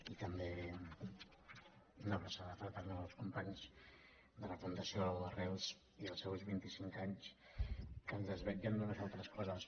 i també una abraçada fraternal als companys de la fundació arrels i als seus vint i cinc anys que ens desvetllen d’unes altres coses